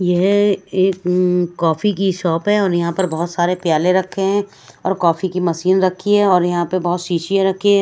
यह एक कॉफी की शॉप है और यहां पर बहोत सारे प्याले रखे है और कॉफी की मशीन रखी है और यहां पे बहोत शीशियां रखी--